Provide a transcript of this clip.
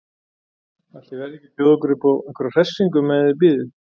Ætli ég verði ekki að bjóða ykkur uppá einhverja hressingu meðan þið bíðið.